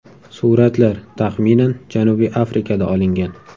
Suratlar, taxminan Janubiy Afrikada olingan.